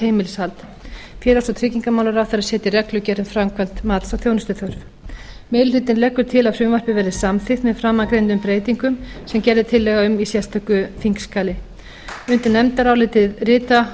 heimilishald félags og tryggingamálaráðherra setji reglugerð um framkvæmd mats á þjónustuþörf meiri hlutinn leggur til að frumvarpið verði samþykkt með framangreindum breytingum sem gerð er tillaga um í sérstöku þingskjali undir nefndarálitið rita